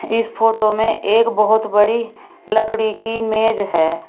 इस फोटो में एक बहुत बड़ी लकड़ी की मेज है।